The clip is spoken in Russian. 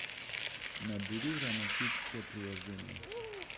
набери романтическое приложение